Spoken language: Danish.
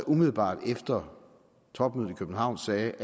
umiddelbart efter topmødet i københavn sagde